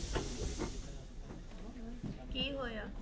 ਕੀ ਹੋਇਆ?